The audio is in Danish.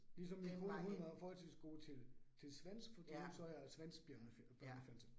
Ligesom min kone, hun var forholdsvis god til til svensk fordi hun så er svensk børnefjernsyn